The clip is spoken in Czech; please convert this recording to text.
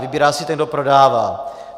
Vybírá si ten, kdo prodává.